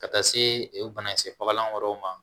Ka taa se banakisɛ fagalan wɛrɛw ma